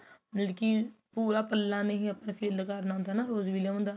ਜਦਕਿ ਪੂਰਾ ਪੱਲਾ ਨਹੀਂ ਆਪਾ fill ਕਰਨਾ ਹੁੰਦਾ rose bellum ਦਾ